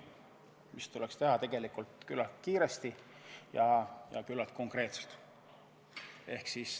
See tuleks ära teha küllalt kiiresti ja küllalt konkreetselt.